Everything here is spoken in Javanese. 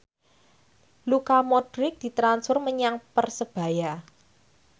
Luka Modric ditransfer menyang Persebaya